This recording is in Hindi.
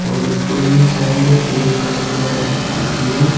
साइड एक काले कलर की स्कूटी है।